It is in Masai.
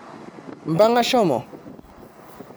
Mpang'a shomo.